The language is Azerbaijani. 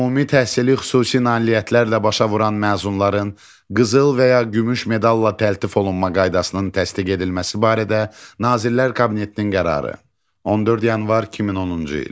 Ümumi təhsili xüsusi nailiyyətlərlə başa vuran məzunların qızıl və ya gümüş medalla təltif olunma qaydasının təsdiq edilməsi barədə Nazirlər Kabinetinin qərarı, 14 yanvar 2010-cu il.